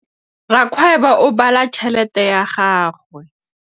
Rakgwêbô o bala tšheletê ya gagwe.